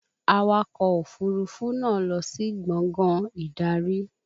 Awakọ̀ òfúrufú náà lọ sí gbàngán ìdarí